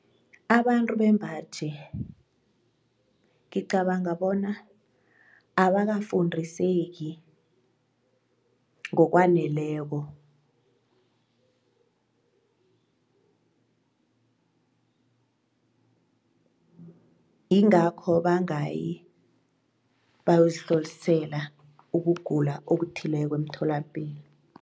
Abantu bembaji ngicabanga bona abakafundiseki ngokwaneleko ingakho bangayi bayozihlolisela ukugula okuthileko emtholapilo.